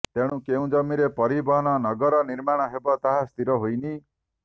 ତେଣୁ କେଉଁ ଜମିରେ ପରିବହନ ନଗର ନିର୍ମାଣ ହେବ ତାହା ସ୍ଥିର ହୋଇନି